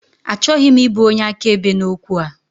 Achọghị m ịbụ onye akaebe n'okwu a.